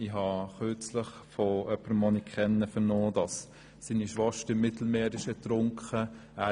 Ich habe kürzlich von jemandem, den ich kenne, vernommen, dass seine Schwester im Mittelmehr ertrunken ist.